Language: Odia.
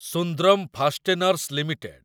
Sundram fasteners limited